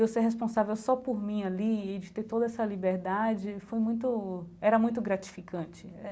Eu ser responsável só por mim ali e de ter toda essa liberdade, foi muito era muito gratificante.